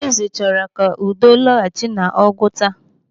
Onyeeze chọrọ ka udo lọghachi n'Ụgwuta.